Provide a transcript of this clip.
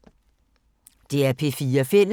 DR P4 Fælles